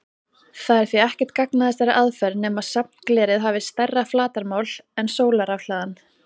Það er því ekkert gagn að þessari aðferð nema safnglerið hafi stærra flatarmál en sólarrafhlaðan.